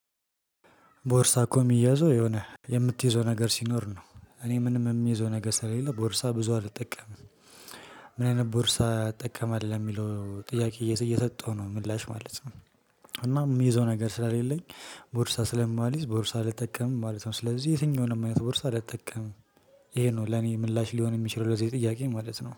ቦርሳ እኮ ሚያዘው የሆነ የምትይዘው ነገር ሲኖር ነው እኔ ምንም ሚይዘው ነገር ስለሌለ ቦርሳ ብዙ አልጠቀምም። ምን አይነት ቦርሳ እጠቀማለሁ ሚለው ጥያቄ እየሰጠሁ ነው ምላሽ ማለት ነው። እና ሚይዘው ነገር ስለሌለኝ ቦርሳ ስለማልይዝ ቦርሳ አልጠቀምም ማለት ነው። ስለዚህ የትኛውንም አይነት ቦርሳ አልጠቀምም። እሄ ነው ለኔ ምላሽ ሊሆን ሚችል ለዚህ ጥያቄ ማለት ነው